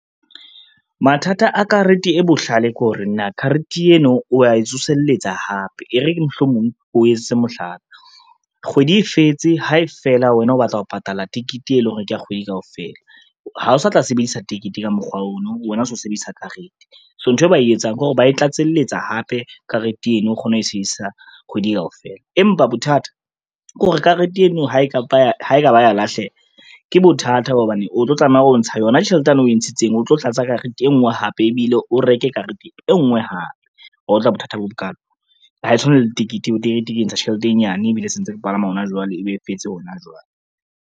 Mathata a karete e bohlale kore na karete eno o ya e tsoselletsa hape, e re ke mohlomong ko etsetse mohlala. Kgwedi e fetse, ha fela wena o batla ho patala tekete e leng hore kea kgwedi kaofela, ha o sa tla sebedisa tekete ka mokgwa ono, wena o se o sebedisa karete. So nthwe ba e etsang ke hore ba e tlatselletsa hape karete eno o kgona ho e sebedisa kgwedi kaofela. Empa bothata ke hore karete eno ha e ka ba ya lahleha ke bothata ba hobane o tlo tlameha hore o ntsha yona tjhelete yane o e ntshitseng, o tlo tlatsa karete e ngwe hape ebile o reke karete e ngwe hape. Wa utlwa bothata bo bokalo ha e tshwane le tekete, tekete ke ntsha tjhelete e nyane ebile se ntse ke palama hona jwale ebe e fetse hona jwale.